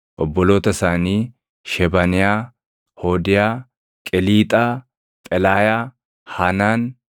obboloota isaanii: Shebaniyaa, Hoodiyaa, Qeliixaa, Phelaayaa, Haanaan,